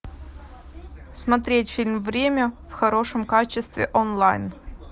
смотреть фильм время в хорошем качестве онлайн